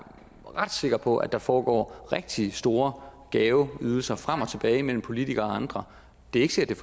ret sikker på at der forekommer rigtig store gaveydelser frem og tilbage mellem politikere og andre det er ikke sikkert